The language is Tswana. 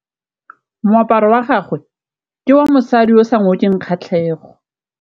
Moaparô wa gagwe ke wa mosadi yo o sa ngôkeng kgatlhegô.